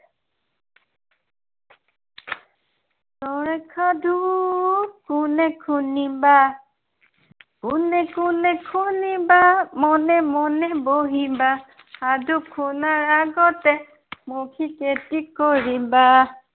ছয়ৰ সাধু কোনে শুনিবা। কোনে কোন শুনিবা, মনে মনে বহিবা, সাধু শুনাৰ আগতে মৌখিক এটি কৰিবা।